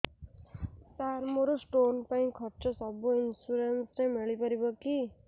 ସାର ମୋର ସ୍ଟୋନ ପାଇଁ ଖର୍ଚ୍ଚ ସବୁ ଇନ୍ସୁରେନ୍ସ ରେ ମିଳି ପାରିବ କି